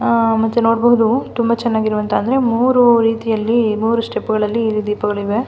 ಆಹ್ಹ್ ಮತ್ತೆ ನೋಡಬಹುದು ತುಂಬ ಚೆನ್ನಾಗಿರುವಂತಹ ಅಂದರೆ ಮೂರೂ ರೀತಿಯಲ್ಲಿ ಮೂರೂ ಸ್ಟೆಪ್ಗಳಲ್ಲಿ ಇಲ್ಲಿ ದೀಪಗಳು ಇವೆ.